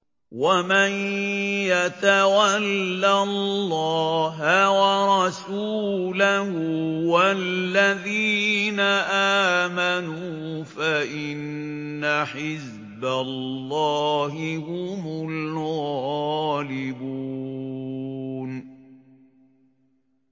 وَمَن يَتَوَلَّ اللَّهَ وَرَسُولَهُ وَالَّذِينَ آمَنُوا فَإِنَّ حِزْبَ اللَّهِ هُمُ الْغَالِبُونَ